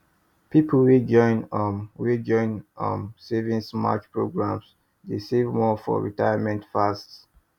people wey join um wey join um savings match program dey save more for retirement fast